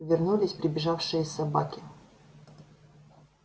вернулись прибежавшие собаки